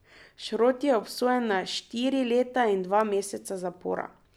Šrot je obsojen na štiri leta in dva meseca zapora.